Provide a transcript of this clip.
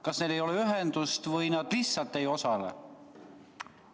Kas neil ei ole ühendust või nad lihtsalt ei osale?